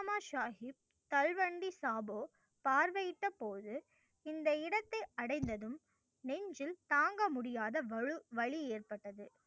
சாஹிப் தல்வண்டி சாபோ பார்வையிட்டபோது இந்த இடத்தை அடைந்ததும் நெஞ்சில் தாங்க முடியாத வாலு வலி ஏற்பட்டது.